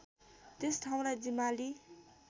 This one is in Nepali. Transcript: त्यस ठाउँलाई जिमाली